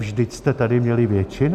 Vždyť jste tady měli většinu.